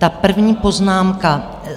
Ta první poznámka.